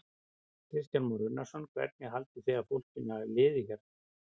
Kristján Már Unnarsson: Hvernig haldið þið að fólkinu hafi liðið hérna?